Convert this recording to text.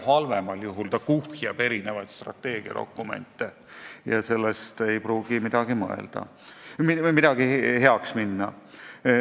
Halvemal juhul kuhjatakse kokku erinevaid strateegiadokumente ja sellest ei pruugi midagi paremaks minna.